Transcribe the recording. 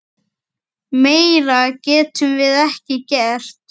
Meira getum við ekki gert.